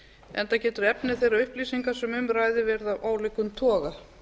enda getur efni þeirra upplýsinga sem um ræðir verið af ólíkum toga